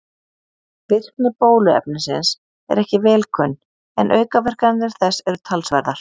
Virkni bóluefnisins er ekki vel kunn en aukaverkanir þess eru talsverðar.